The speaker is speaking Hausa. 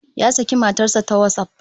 Ya saki matar sa ta WhatsApp